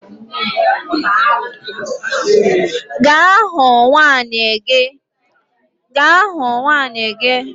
Gaa hụ nwunye gị